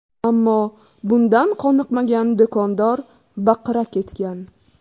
Ammo bundan qoniqmagan do‘kondor baqira ketgan.